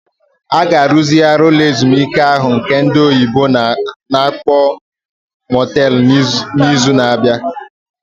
A ga-arụzigharị ụlọ ezumike ahụ nke ndị oyibo na-akpọ Motel n'izu na-abịa.